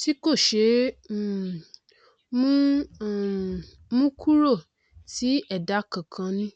ṭí kò ṣeé um mú um mú kúrò tí ẹdá kọọkan ní